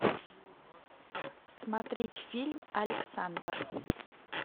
смотреть фильм александр